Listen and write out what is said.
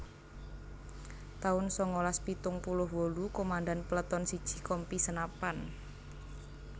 taun sangalas pitung puluh wolu Komandan Peleton siji Kompi Senapan